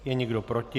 Je někdo proti?